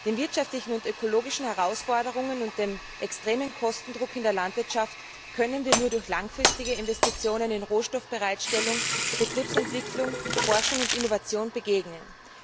Den wirtschaftlichen und ökologischen Herausforderungen und dem extremen Kostendruck in der Landwirtschaft können wir nur durch langfristige Investitionen in Rohstoffbereitstellung, Betriebsentwicklung, Forschung und Innovation begegnen.